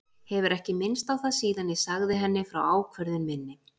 Hefur ekki minnst á það síðan ég sagði henni frá ákvörðun minni.